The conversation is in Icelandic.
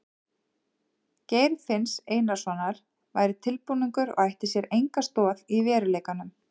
Geir finns Einarssonar væri tilbúningur og ætti sér enga stoð í veruleikanum.